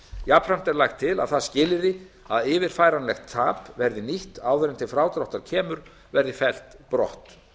jafnframt er lagt til að það skilyrði að yfirfæranlegt tap verði nýtt áður en til frádráttar kemur verði fellt brott